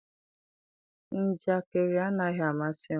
njakịrị anaghị amasị m.